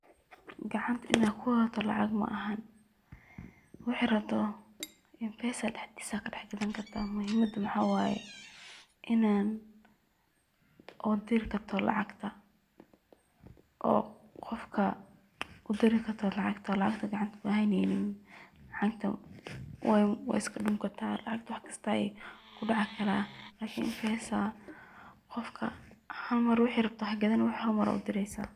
Gacanta ina kuwadato lacag ma ahan, wixi rabto mpesa dhaxdiis ad kadhax gaadani karta, muhiimada maxa waye inan udiri karto lacagta oo qofka udiri karto lacagta oo lacagta gacanta kuhayneynin, lacagta wayo way iska dhumi kartaa, lacagta wax kista aya kudhici karaa, lakin mpesa qofka hal Mar wixi rabto hagadanin wixi hal Mar aa udireysa